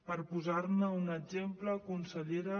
per posar ne un exemple consellera